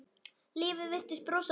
Lífið virtist brosa við ykkur.